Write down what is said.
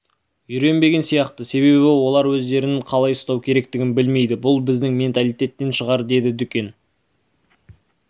үйренбеген сияқты себебі олар өздерін қалай ұстау керектігін білмейді бұл бізің менталитеттен шығар деді дүкен